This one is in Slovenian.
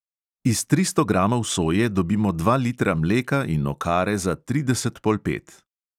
Iz tristo gramov soje dobimo dva litra mleka in okare za trideset polpet.